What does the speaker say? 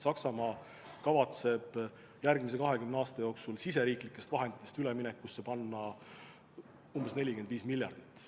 Saksamaa kavatseb järgmise 20 aasta jooksul oma riigi vahenditest üleminekuks eraldada 45 miljardit.